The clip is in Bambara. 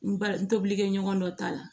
N ba n tobili kɛ ɲɔgɔn dɔ ta la